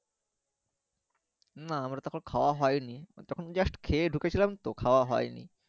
না আমারা তখন খাওয়া হইনি তখন just খেয়ে ধুকেছিলাম তো খাওয়া হইনি